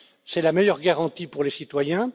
C'est la meilleure garantie pour les citoyens.